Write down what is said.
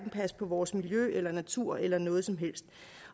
passe på vores miljø eller natur eller noget som helst